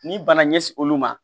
N'i banna ɲɛsi olu ma